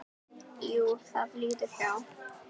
Jú, það líður hjá.